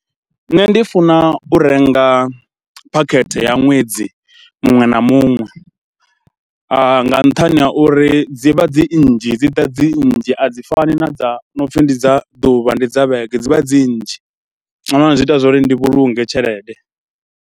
Nṋe ndi funa u renga phakhethe ya ṅwedzi muṅwe na muṅwe nga nṱhani ha uri dzi vha dzi nnzhi, dzi ḓa dzi nnzhi, a dzi fani na dza no pfhi ndi dza ḓuvha, ndi dza vhege, dzi vha dzi nnzhi nga maanḓa, zwi ita zwa uri ndi vhulunge tshelede.